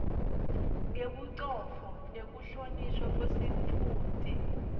ngebucotfo nekuhlonishwa kwesitfunti